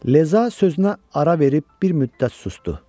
Leza sözünə ara verib bir müddət susdu.